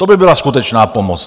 To by byla skutečná pomoc.